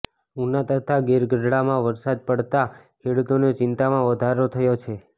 ઉના તથા ગીરગઢડામાં વરસાદ પડતા ખેડૂતોની ચિંતામાં વધારો થયો છે